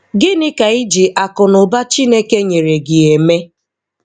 Gịnị ka iji akụ na ụba Chineke nyere gị eme?